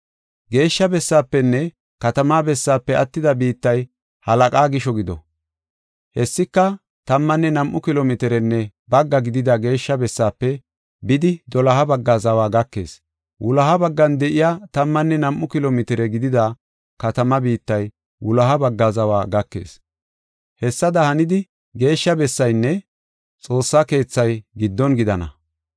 “Geeshsha bessaafenne katamaa bessaafe attida biittay halaqaa gisho gido. Hessika tammanne nam7u kilo mitirenne bagga gidida geeshsha bessaafe bidi doloha bagga zawa gakees. Wuloha baggan de7iya tammanne nam7u kilo mitire gidida katamaa biittay wuloha baggaa zawa gakees. Hessada hanidi geeshsha bessaynne Xoossay keethay giddon gidana.